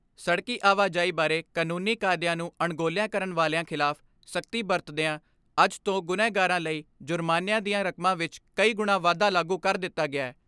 ਸੜਕੀ ਆਵਾਜਾਈ ਬਾਰੇ ਕਨੂੰਨੀ ਕਾਇਦਿਆਂ ਨੂੰ ਅਣਗੋਲਿਆ ਕਰਣ ਵਾਲਿਆਂ ਖਿਲਾਫ ਸਖਤੀ ਵਰਤਦਿਆਂ ਅੱਜ ਤੋਂ ਗੁਨਾਹਗਾਰਾਂ ਲਈ ਜੁਰਮਾਨਿਆਂ ਦੀਆਂ ਰਕਮਾਂ ਵਿੱਚ ਕਈ ਗੁਣਾ ਵਾਧਾ ਲਾਗੂ ਕਰ ਦਿੱਤਾ ਗਿਐ।